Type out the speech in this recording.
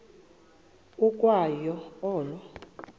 ukwa yo olo